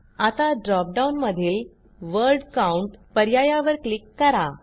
आता ड्रॉप डाऊनमधील word count पर्यायावर क्लिक करा